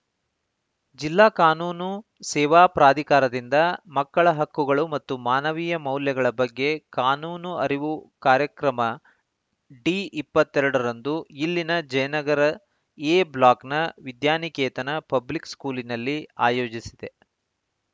ಜಿಲ್ಲಾ ಕಾನೂನು ಸೇವಾ ಪ್ರಾಧಿಕಾರದಿಂದ ಮಕ್ಕಳ ಹಕ್ಕುಗಳು ಮತ್ತು ಮಾನವೀಯ ಮೌಲ್ಯಗಳ ಬಗ್ಗೆ ಕಾನೂನು ಅರಿವು ಕಾರ್ಯಕ್ರಮ ಡಿ ಇಪ್ಪತ್ತ್ ಎರಡರಂದು ಇಲ್ಲಿನ ಜಯನಗರ ಎ ಬ್ಲಾಕ್‌ನ ವಿದ್ಯಾನಿಕೇತನ ಪಬ್ಲಿಕ್‌ ಸ್ಕೂಲಿನಲ್ಲಿ ಆಯೋಜಿಸಿದೆ